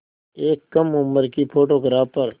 एक कम उम्र की फ़ोटोग्राफ़र